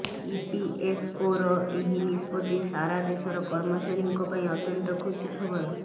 ଇପିଏଫଓର ଏହି ନିଷ୍ପତ୍ତି ସାରା ଦେଶର କର୍ମଚାରୀଙ୍କ ପାଇଁ ଅତ୍ୟନ୍ତ ଖୁସି ଖବର